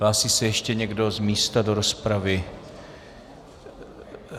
Hlásí se ještě někdo z místa do rozpravy?